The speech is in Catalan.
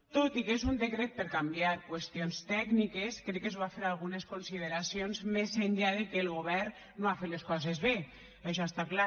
tot i que és un decret per canviar qüestions tècniques crec que es bo fer algunes consideracions més enllà de que el govern no ha fet les coses bé això està clar